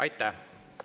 Aitäh!